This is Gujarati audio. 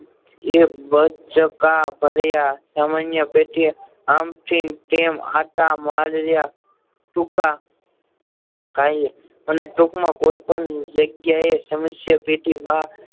એક બાચકા ભર્યા સામાન્ય રીતે આમ થી તેમ અતા માર્યા ટૂંકા કાળે અને ટૂંક માં કોઈ પણ જગ્યા એ